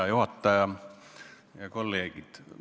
Hea juhataja ja kolleegid!